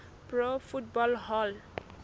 pro football hall